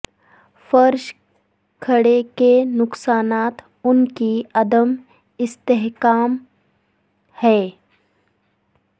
فرش کھڑے کے نقصانات ان کی عدم استحکام ہیں